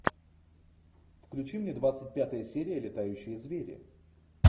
включи мне двадцать пятая серия летающие звери